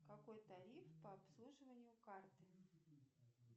какой тариф по обслуживанию карты